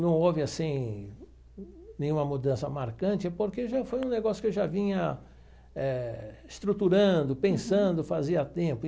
Não houve, assim, nenhuma mudança marcante, porque já foi um negócio que eu já vinha eh estruturando, pensando, fazia tempo.